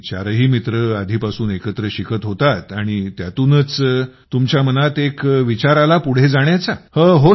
आणि चारही मित्र आधी पासून एकत्र शिकत होतात आणि त्यातूनच तुमच्या मनात एक विचार आला पुढेजाण्याचा